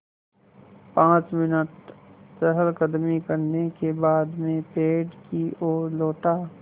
पाँच मिनट चहलकदमी करने के बाद मैं पेड़ की ओर लौटा